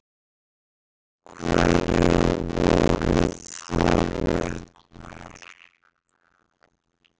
Hverjar voru þarfirnar?